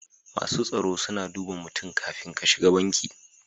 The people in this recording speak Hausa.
Masu tsaro suna duba mutum kafin ka shiga banki.